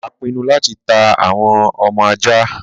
a pinu láti ta àwọn ọmọ aja